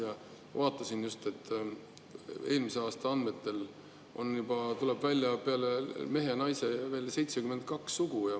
Ma vaatasin just, eelmise aasta andmetel on juba, tuleb välja, peale mehe ja naise veel 72 sugu.